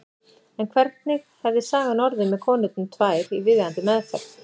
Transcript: En hvernig hefði sagan orðið með konurnar tvær í viðeigandi meðferð?